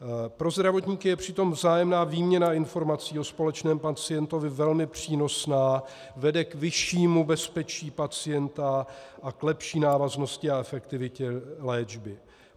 Pro zdravotníky je přitom vzájemná výměna informací o společném pacientovi velmi přínosná, vede k vyššímu bezpečí pacienta a k lepší návaznosti a efektivitě léčby.